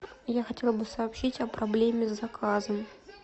я хотела бы сообщить о проблеме с заказом